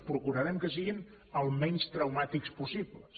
procurarem que siguin el menys traumàtiques possibles